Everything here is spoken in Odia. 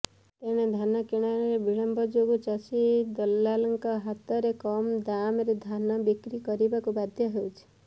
ତେଣେ ଧାନକିଣାରେ ବିଲମ୍ବ ଯୋଗୁଁ ଚାଷୀ ଦଲାଲଙ୍କ ହାତରେ କମ ଦାମରେ ଧାନ ବିକ୍ରି କରିବାକୁ ବାଧ୍ୟ ହେଉଛି